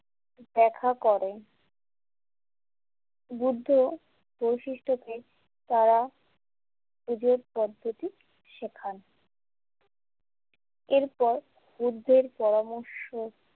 দেখা করেন বুদ্ধ বৈশিষ্ট্যটির তারা নিজের পদ্ধতি সেখান এরপর বুদ্ধের পরামর্শ।